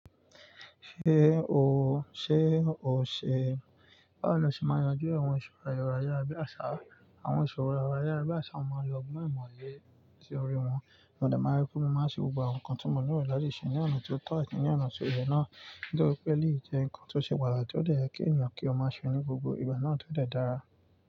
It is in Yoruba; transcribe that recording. Ṣé o, ṣe o ṣe? Báwo ni a ṣe máa yanjú àwọn ìṣòro ero ayara bí àṣá? Àwọn ìṣòro ero ayàrá bí àṣá máa lo ọgbọ́n ìmòye sórí wọn. Mo de ma n arákùnrin, mo máa ṣe gbogbo àwọn nǹkan tí mo lè rò láti ṣe ní ọ̀nà tó tọ́ àti ní ọ̀nà tó yẹ náà. Nítorí pé eleyi jẹ́ nǹkan tó ṣe pàtàkì tó dẹ́ ye ki ènìyàn kí ó má ṣe ní gbogbo ìgbà náà tó dẹ́ dára.